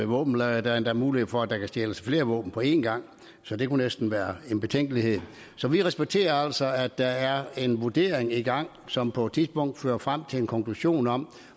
våbenlagre der er endda mulighed for at der kan stjæles flere våben på en gang så det kunne næsten være en betænkelighed her så vi respekterer altså at der er en vurdering i gang som på et tidspunkt fører frem til en konklusion om